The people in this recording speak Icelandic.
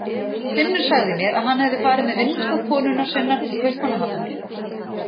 Finnur sagði mér að hann hefði farið með vinnustað konunnar sinnar til Kaupmannahafnar.